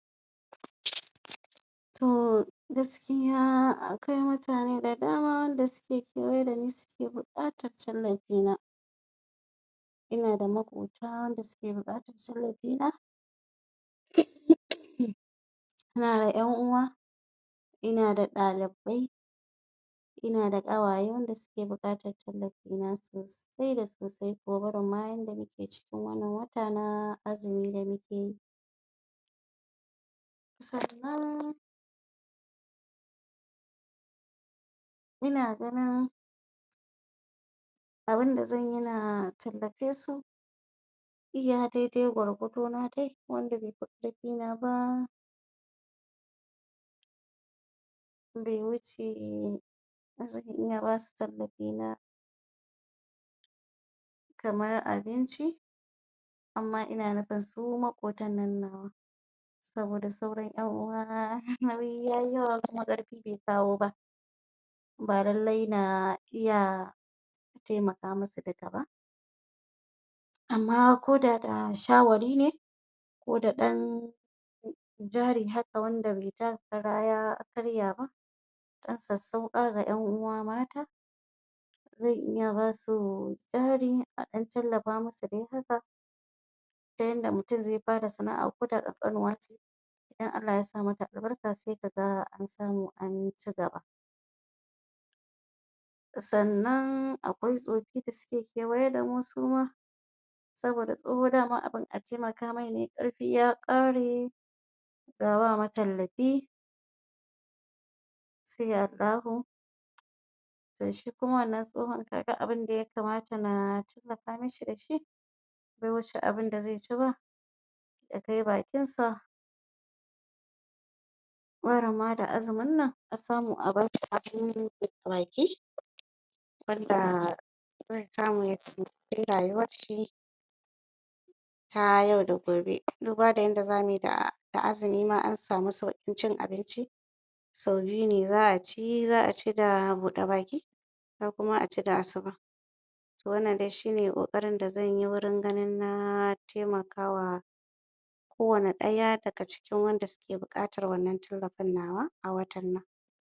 Tor gaskiya akwai mutane da dama wanda suke suke kewaye dani suke buƙatar tallafina ina da maƙota wanda suke buƙatar tallafina na ƴan'uwa ina da ɗalibai ina da ƙawaye wanda suke bukatar tallafina sosai da sosai barin ma yanda muke cikin wannan wata na azumi da muke yi sannan ina ganin abunda zanyi na tallafesu iya daidai gwargwado na dai wanda befi karfina ba be wuce na iya basu tallafina kamar abinci amma ina nufin su maƙotannan nawa saboda sauran ƴan 'uwa nauyi yayi yawa kuma ƙarfe be kawo ba ba lallai na iya taimaka musu duka ba amma ko da da shaware ne ko da ɗan jari haka wanda be taka kara ya karya ba ɗan sassauƙa ga ƴan 'uwa mata zan iya basu jari a ɗan tallafa musu dai haka ta yanda mutum zai fara sana' a ko da ƙanƙanuwa ce idan Allah yasa mata albarka sai kaga ansamu ancigaba sannan akwai tsofi da suke kewaye damu suma saboda tsoho daman abun a taimaka mai ne karfi ya kare ga ba matallafi to shi kuma wannan tsohon duk abunda ya kamata na tallafa masa dashi da be wuce abunda zaici ba ya kai bakinsa barin ma da azumin nan a samu a bashi abun buɗe baki wanda zai samu yayi rayuwarshi ta yau da gobe duba da yanda zamuyi da azumi ma ansamu saukin cin abinci sau biyu ne za'aci za'aci da buɗe baki za kuma aci da asuba wannan shine ƙoƙarin da zanyi gurin ganin na taimakawa ko wanne ɗaya da suke bukatar wannan tallafin nawa a watan nan